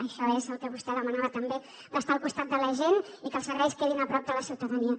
això és el que vostè demanava també d’estar al costat de la gent i que els serveis quedin a prop de la ciutadania